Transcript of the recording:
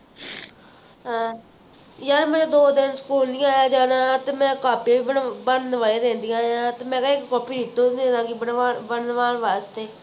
ਯਾਰ ਮੈਂ ਦੋ ਦਿਨ ਨਹੀਂ ਆਯਾ ਜਾਣਾ ਤੇ ਮੈਂ ਕਾਪੀਆਂ ਵੀ ਬਣ ਬਣਵਾਈ ਰਹਿੰਦੀਆਂ ਤੇ ਮੈਂ ਕਿਹਾ ਇਕ copy ਵੀ ਦੇ ਦਾਂਗੀ ਬਨਵਾ ਬਨਾਵਣ ਵਾਸਤੇ